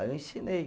Aí eu ensinei.